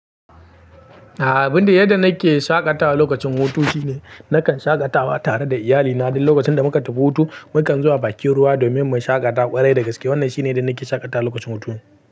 A'a abun da yadda nake shaƙatawa lokacin hutu shine nakan shaƙatawa tare da iyalina duk lokacin da muka tafi hutu. Mukan zuwa bakin ruwa domin mu shaƙata ƙwarai da gaske. Wannan shine yadda nake shaƙatawa lokacin hutun.